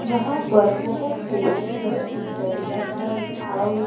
यहां पर बहोत से सुंदर सुंदर लेंटर हाउस --